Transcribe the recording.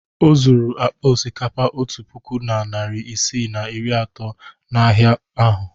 O zuru akpa osikapa otu puku na narị isii na iri atọ n'ahịa ahụ.